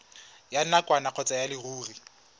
ya nakwana kgotsa ya leruri